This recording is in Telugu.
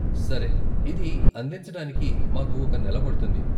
సరే, ఇది అందించటానికి మాకు ఒక నెల పడుతుంది.